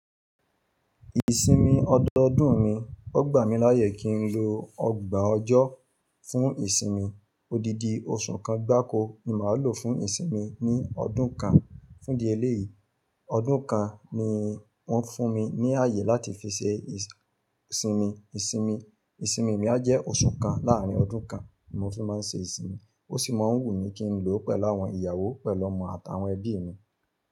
Ìsinmi ọdọọdún mi, ó gbà mí láyè kí n lo ọgbà ọjọ́ fún ìsinmi, odidi oṣù kan gbáko ni màá lò fún ìsinmi ní ọdún kan. Fún di ẹlẹ́yìí, ọdún kan ni wọ́n fún mi ní àyè láti fi ṣe ìsìn-ìsinmi. Ìsinmi mi á jẹ́ oṣù kan láàrín ọdún kan ni mo fi máa ń ṣe ìsinmi, ó sì máa ń wù mí kí n lo pẹ̀lú àwọn ìyàwó pẹ̀lú ọmọ àtàwọn ẹbí mi.